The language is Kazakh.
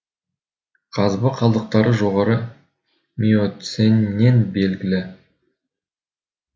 қазба қалдықтары жоғарғы миоценнен белгілі